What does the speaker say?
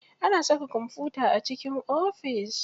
Ana saka kwamfuta a cikin ofis.